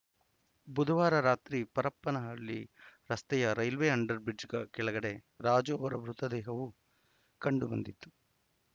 ಬುಧವಾರ ರಾತ್ರಿ ಪರಪನಹಳ್ಳಿ ರಸ್ತೆಯ ರೈಲ್ವೆ ಅಂಡರ್‌ ಬ್ರಿಡ್ಜ್ ಕ ಕೆಳಗಡೆ ರಾಜು ಅವರ ಮೃತದೇಹವು ಕಂಡುಬಂದಿತು